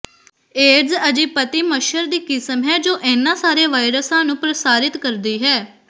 ਏਡੀਜ਼ aegypti ਮੱਛਰ ਦੀ ਕਿਸਮ ਹੈ ਜੋ ਇਹਨਾਂ ਸਾਰੇ ਵਾਇਰਸਾਂ ਨੂੰ ਪ੍ਰਸਾਰਿਤ ਕਰਦੀ ਹੈ